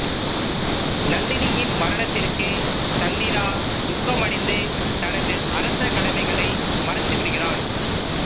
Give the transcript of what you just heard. நந்தினியின் மரணத்திற்கு சந்திரா துக்கமடைந்து தனது அரச கடமைகளை மறந்துவிடுகிறான்